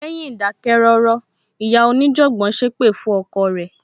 Lẹ́yìn ìdákẹ́ rọ́rọ́, ìyá onijanbon sépè fún ọkọ rẹ.